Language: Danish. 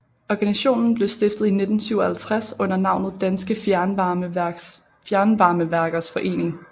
Organisationen blev stiftet i 1957 under navnet Danske Fjernvarmeværkers Forening